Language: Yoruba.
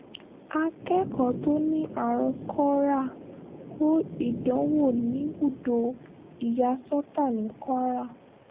akẹ́kọ̀ọ́ tó ní àrùn korea kó ìdánwò níbùdó ìyàsọ́ta ní kwara